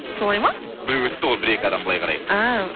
солай ма біреу өтті ғой бір екі адам былай қарай әәә